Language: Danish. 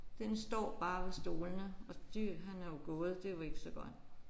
Den står bare ved stolene og de han er jo gået det er jo ikke så godt